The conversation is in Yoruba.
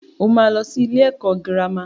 Ó máa lọ sí ilé ẹ̀kọ́ girama.